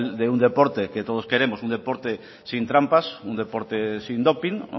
de un deporte que todos queremos un deporte sin trampas un deporte sin doping